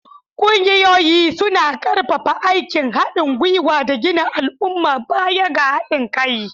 Ƙungiyoyi suna ƙarfafa aikin haɗin gwiwa da gina al'umma baya ga haɗin kai.